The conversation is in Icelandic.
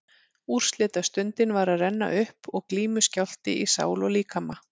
Úrslitastundin var að renna upp og glímuskjálfti í sál og líkama.